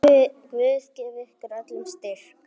Guð gefi ykkur öllum styrk.